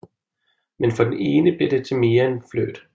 Men for den ene bliver det til mere end flirt